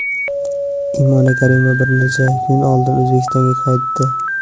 Imon Karimova bir necha kun oldin O‘zbekistonga qaytdi.